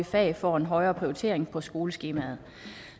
fag får en højere prioritering på skoleskemaet